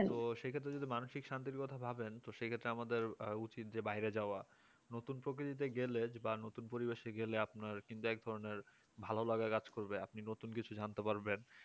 তো সেই ক্ষেত্রে যদি মানসিক শান্তির কথা ভাবেন তো সেক্ষত্রে আমাদের উচিত যে বাহিরে যাওয়া নতুন প্রকৃতি তে গেলে বা নতুন পরিবেশে গেলে যে আপনার কিন্তু একধরণের ভালো লাগা কাজ করবে আপনি নতুন কিছু জানতে পারবেন